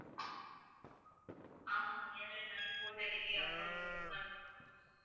ஆமாம் ma'am early morning four thirty க்கே அப்போ நீங்க book பண்ணுங்க